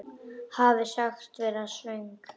Hafi sagst vera svöng.